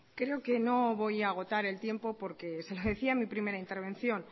creo que no voy a agotar el tiempo porque se lo decía en mi primera intervención